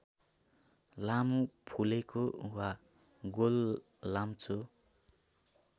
लामो फुलेको वा गोललाम्चो